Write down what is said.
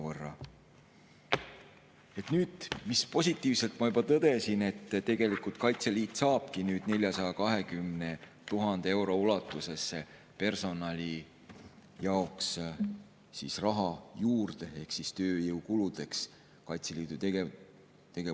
Ma juba positiivselt tõdesin, et tegelikult Kaitseliit saab 420 000 euro ulatuses personali jaoks ehk tööjõukuludeks raha juurde Kaitseliidu tegevustoetusse.